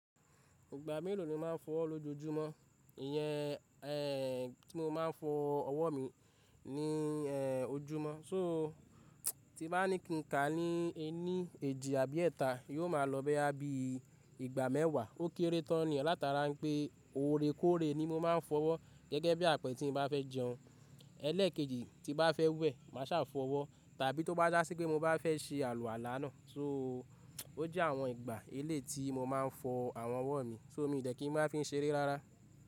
Ìgbà mélòó ni o máa ń fọ ọwọ́ lójoojúmọ́? Ìyẹn, ẹ, tí mo máa ń fọ ọwọ́ mi ní ẹ, ojúmọ́. So tí bá ní kí n kà á ní ẹ ní èjì àbí èta, yóò máa lọ bẹ́ẹ abẹ́ ìgbà mẹ́wàá. Ó kéré tán ni. Alátara ń pé oore kóre ni mo máa ń fọwọ́ gẹ́gẹ́ bí àpẹẹrẹ tí mo bá fẹ́ jẹun ẹlẹ́ẹ̀kejì tí bá fẹ́ wẹ̀ máa sá fọwọ́, tàbí tó bá jásí pé mo bá fẹ́ se àlọ́ àlá náà. So ó jẹ́ àwọn ìgbà elé ti mo máa ń fọ àwọn ọwọ́ mi. So mí ò dẹ̀ kí n máa fi ń ṣeré rárá.